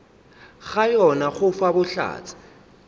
ga yona go fa bohlatse